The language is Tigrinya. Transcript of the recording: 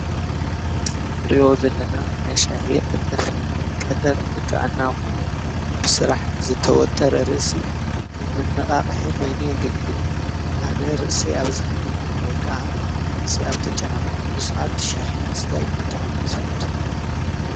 እዚ ንሪኦ ዘለና ናይ ሻሂ ቀጠፍ እዩ፡፡ ቀጠፍ ንጥዕና ኮነ ብስራሕ ዝተወጠረ ርእሲ ከም መነቃቅሒ ኮይኑ የገልግል፡፡ ኣነ ርእሰይ ኣብ ዝሕመኒ ወይ ከዓ ርእሰይ ኣብ ዝተጫናነቅኩሉ ስዓት ሻሂ ምስታይ ብጣዕሚ እየ ዝፈቱ ፡፡